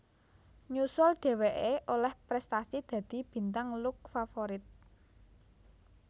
Nyusul dheweké olih prestasi dadi Bintang Lux Favorit